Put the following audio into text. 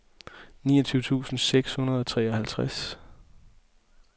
niogtyve tusind seks hundrede og treoghalvtreds